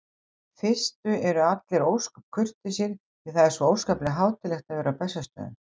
fyrstu eru allir ósköp kurteisir því það er svo óskaplega hátíðlegt að vera á Bessastöðum.